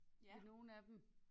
På nogle af dem